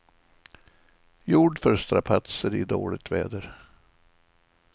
Gjord för strapatser i dåligt väder.